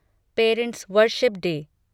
parents' worship day